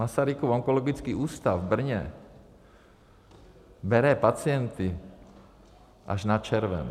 Masarykův onkologický ústav v Brně bere pacienty až na červen.